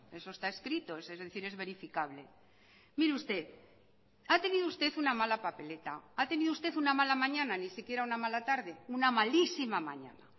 eso está escrito es decir es verificable mire usted ha tenido usted una mala papeleta ha tenido usted una mala mañana ni siquiera una mala tarde una malísima mañana